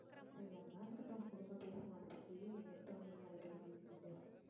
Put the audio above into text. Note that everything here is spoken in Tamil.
சரி, அதெல்லாம் இருக்கட்டும். விடுங்க பேசுவோம் அதை பத்தி. எடுத்த உடனே ஏன் அதை பத்தி பேசிக்கிட்டு